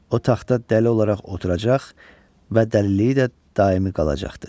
O taxta dəli olaraq oturacaq və dəliliyi də daimi qalacaqdır.